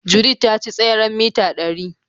Judith ta ci tseren mita ɗari.